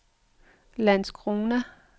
Landskrona